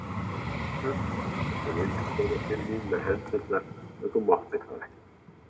Öldu og þú vildir koma til mín með hendurnar en þú máttir það ekki.